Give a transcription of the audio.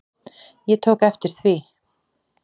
Ég tók eftir því.